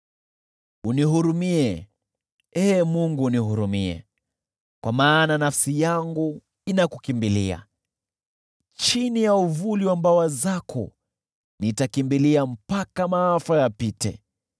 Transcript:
Unihurumie, Ee Mungu, unihurumie, kwa maana nafsi yangu inakukimbilia. Chini ya uvuli wa mbawa zako nitakimbilia mpaka maafa yapite.